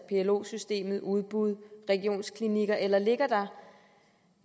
plo systemet udbud regionsklinikker eller ligger der